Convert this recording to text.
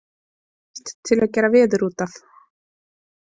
Ekkert til að gera veður út af.